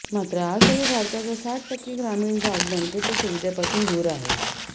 मात्र आजही भारताचा साठ टक्के ग्रामीण भाग बँकेच्या सुविधेपासून दूर आहे